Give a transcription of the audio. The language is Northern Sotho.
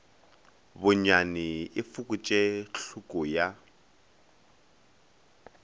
bonyane e fokotše tlhoko ya